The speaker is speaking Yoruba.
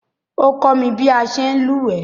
O komi bi a se n lúwẹ̀ẹ́